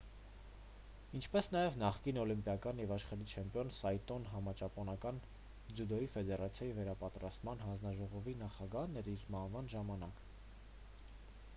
ինչպես նաև նախկին օլիմպիական և աշխարհի չեմպիոն սայտոն համաճապոնական ձյուդոյի ֆեդերացիայի վերապատրաստման հանձնաժողովի նախագահն էր իր մահվան ժամանակ